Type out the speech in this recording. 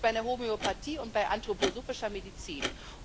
Das ist bei der Homöopathie und bei anthroposophischer Medizin.